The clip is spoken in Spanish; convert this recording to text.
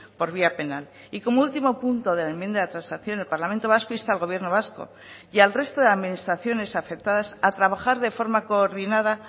por vía penal y como último punto de la enmienda de transacción el parlamento vasco insta al gobierno vasco y al resto de administraciones afectadas a trabajar de forma coordinada